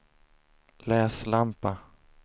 läslampa